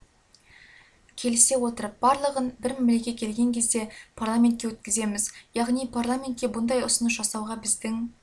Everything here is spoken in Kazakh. келісе отырып бір мәмілеге келген кезде барлығын парламентке өткіземіз яғни парламентке бұндай ұсыныс жасауға біздің